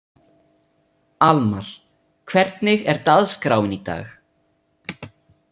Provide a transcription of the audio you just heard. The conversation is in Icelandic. Almar, hvernig er dagskráin í dag?